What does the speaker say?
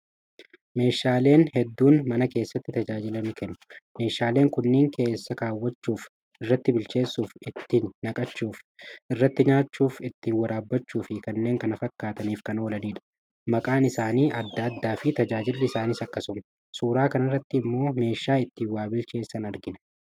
Meeshaaleen jedduun mana keessatti tajaajila ni kennuu. Meeshaaleen kunniin keess kaawwachuuf, irratti bilcheessuuf, itti naqachuuf, irratti nyaachuuf, ittiin waraabbachuu fi kanneen kan fakkaataniif kan oolanidha. Maqaan isaanii adda addaa fi tajaajilli isaaniis akkasuma. Suuraa kanarratti immoo meeshaa ittiin waa bilcheessan argina.